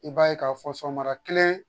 I b'a k'a fɔ sɔgɔma kelen